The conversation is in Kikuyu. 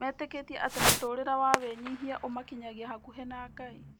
Metĩkĩtie atĩ mũtũũrĩre wa wĩnyihia ũmakinyagia hakuhĩ na Ngai.